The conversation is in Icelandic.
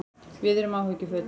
Við erum áhyggjufull